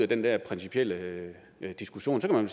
den der principielle diskussion kan man